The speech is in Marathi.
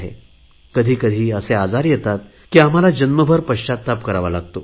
कधी कधी असे आजार येतात की आम्हाला जन्मभर पश्चाताप करावा लागतो